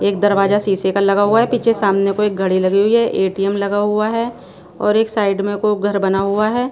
एक दरवाजा शीशे का लगा हुआ है पीछे सामने को एक घड़ी लगी हुई है ए_टी_एम लगा हुआ है और एक साइड में को घर बना हुआ है।